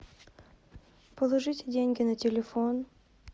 положите деньги на телефон